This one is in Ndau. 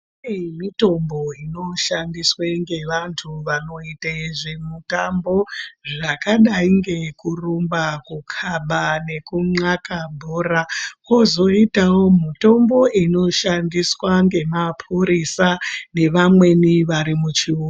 Kune mitombo inoshandiswe ngevantu vanoite zvemitambo zvakadai ngekurumba kukaba nekunxaka bhora kozoitawo mitombo inoshandiswa ngemapurisa nevamweni vari muchiuto.